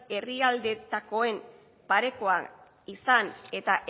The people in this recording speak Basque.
herrialdeetakoen parekoak izan eta